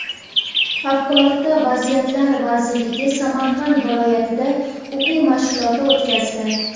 Favqulodda vaziyatlar vazirligi Samarqand viloyatida o‘quv mashg‘uloti o‘tkazdi.